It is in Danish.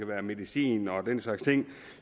være medicin og den slags ting